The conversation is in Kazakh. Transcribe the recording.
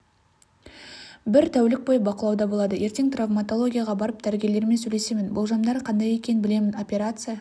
бір тәулік бойы бақылауда болады ертең травматологияға барып дәрігерлермен сөйлесемін болжамдары қандай екенін білемін операция